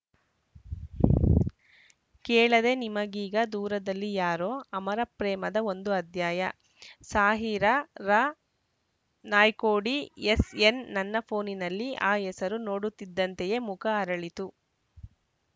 ಕೇಳದೆ ನಿಮಗೀಗ ದೂರದಲ್ಲಿ ಯಾರೋ ಅಮರ ಪ್ರೇಮದ ಒಂದು ಅಧ್ಯಾಯ ಸಾಹಿರಾ ರಾ ನಾಯ್ಕೋಡಿ ಎಸ್‌ಎನ್‌ ನನ್ನ ಫೋನಿನಲ್ಲಿ ಆ ಹೆಸರು ನೋಡುತ್ತಿದ್ದಂತೆಯೇ ಮುಖ ಅರಳಿತು